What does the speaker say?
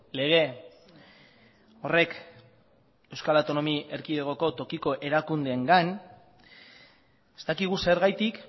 lege horrek euskal autonomia erkidegoko tokiko erakundeengan ez dakigu zergatik